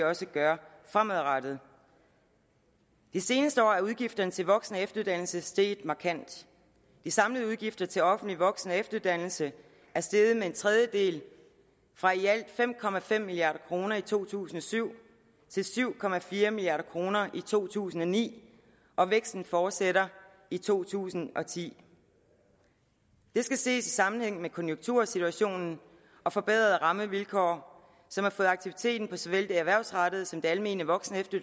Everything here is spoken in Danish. også gøre fremadrettet de seneste år er udgifterne til voksen og efteruddannelse steget markant de samlede udgifter til offentlig voksen og efteruddannelse er steget med en tredjedel fra i alt fem milliard kroner i to tusind og syv til syv milliard kroner i to tusind og ni og væksten fortsætter i to tusind og ti det skal ses i sammenhæng med konjunktursituationen og forbedrede rammevilkår som har fået aktiviteten på såvel det erhvervsrettede som det almene voksen og